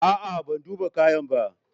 A'a, ban duba kayan ba.